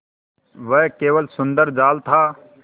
वह केवल सुंदर जाल था